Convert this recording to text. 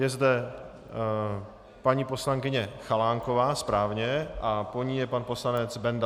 Je zde paní poslankyně Chalánková, správně, a po ní je pan poslanec Bendl.